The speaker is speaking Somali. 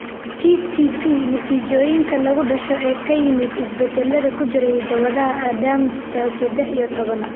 TTP, natiijooyinka lagu dhasho ee ka yimid isbeddellada ku jira hidda-wadaha ADAMTS sedex iyo tobnaad.